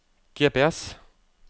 GPS